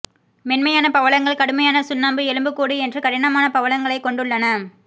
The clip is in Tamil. மென்மையான பவளங்கள் கடுமையான சுண்ணாம்பு எலும்புக்கூடு என்று கடினமான பவளங்களைக் கொண்டுள்ளன